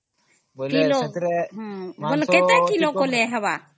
ହଁଁ, ବୋଇଲେ ସେଥରେ